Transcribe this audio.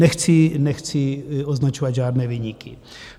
Nechci označovat žádné viníky.